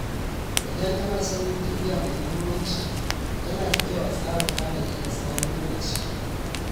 Idan ana son yin tafiya mai muhimmanci, yana da kyau a tsara tanadi na tsawon lokaci.